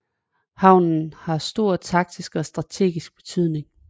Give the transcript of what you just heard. Havnen har stor taktisk og strategisk betydning